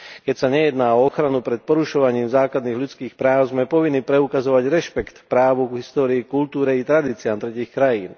Keď sa nejedná o ochranu pred porušovaním základných ľudských práv, sme povinní preukazovať rešpekt k právu, histórii, kultúre i tradíciám tretích krajín.